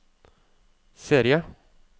serie